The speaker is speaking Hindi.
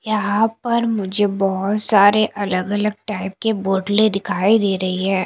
यहां पर मुझे बहोत सारे अलग अलग टाइप की बोतलें दिखाई दे रही है।